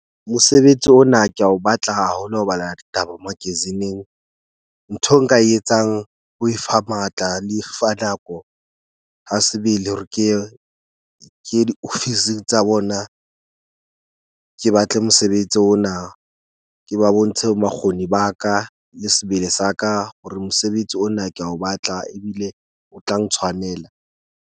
Mosebetsi ona ke a o batla haholo. Ho bala taba magazine-eng ntho eo nka e etsang ko e fa matla le fa nako, ha sebele hore ke ye di-office tsa bona. Ke batle mosebetsi ona, ke ba bontshe makgoni ba ka le sebele sa ka hore mosebetsi ona ke a o batla, ebile o tla ntshwanela.